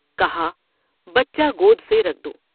کہا بچہ گود سے رکھ دو ''